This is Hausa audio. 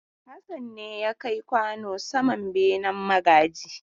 Hassan ne ya kai kwano saman benen magaji.